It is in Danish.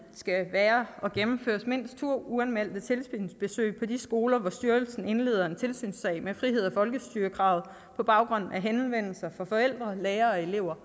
være og gennemføres mindst to uanmeldte tilsynsbesøg på de skoler hvor styrelsen indleder en tilsynssag med frihed og folkestyrekravet på baggrund af henvendelser fra forældre lærere og elever